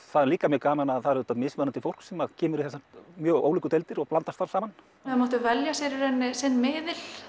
það er líka mjög gaman að það er mismunandi fólk sem kemur í þessar mjög ólíku deildir og blandast þar saman þau máttu velja sér í rauninni sinn miðil